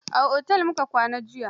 A otel mu ka kwana jiya